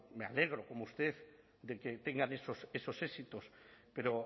me alegro como usted de que tengan esos éxitos pero